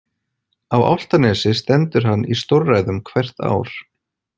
Á Álftanesi stendur hann í stórræðum hvert ár.